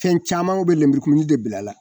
Cɛn camanw bɛ linburukumuni de bila a la.